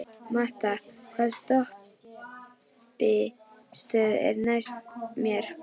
Matta, hvaða stoppistöð er næst mér?